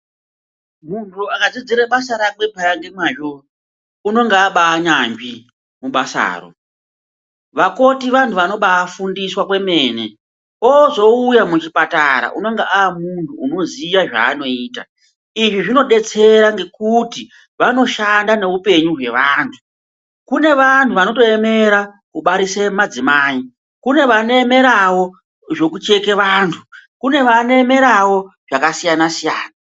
Muntu akadzidzire basa rakwe peya ngemwazvo unonga abaanyanzvi mubasaro vakoti vantu vanobaafundiswa kwemene ozouya muchipatara unonge amuntu unoziye zvaanoita izvi zvinodetsera ngekuti vanoshanda neupenyu hwevantu kune vantu vanoemera kubarisa madzimai kune vanemerawo zvekucheka vantu kune vanoemerawo zvakasiyana siyana.